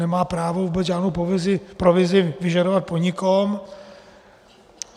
Nemá právo vůbec žádnou provizi vyžadovat po nikom.